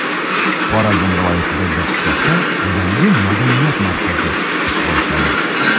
Xorazm viloyatidagi qishloqda yangi madaniyat markazi ish boshladi.